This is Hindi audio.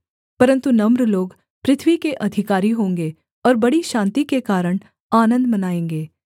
परन्तु नम्र लोग पृथ्वी के अधिकारी होंगे और बड़ी शान्ति के कारण आनन्द मनाएँगे